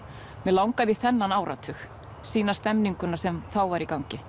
mig langaði í þennan áratug sýna stemninguna sem þá var í gangi